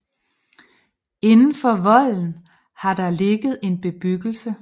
Inden for volden har der ligget en bebyggelse